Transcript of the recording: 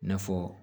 I n'a fɔ